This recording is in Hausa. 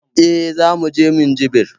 Eh, Zamu je Minjibir